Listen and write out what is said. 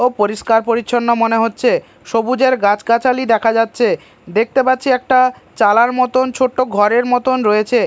ও পরিষ্কার পরিচ্ছন্ন মনে হচ্ছে সবুজের গাছ-গাছালি দেখা যাচ্ছে দেখতে পাচ্ছি একটা চালার মতন ছোট্ট ঘরের মতন রয়েছে।